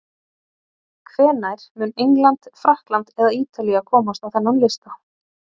Hvenær mun England, Frakkland eða Ítalía komast á þennan lista?